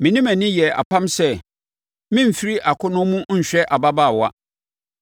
“Me ne mʼani yɛɛ apam sɛ meremfiri akɔnnɔ mu nhwɛ ababaawa.